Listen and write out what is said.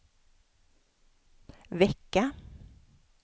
vecka